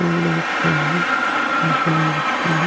Field दिख रहे हैं आसमान दिख रहे हैं।